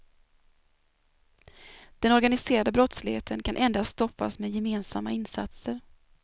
Den organiserade brottsligheten kan endast stoppas med gemensamma insatser.